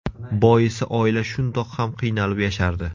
Boisi oila shundoq ham qiynalib yashardi.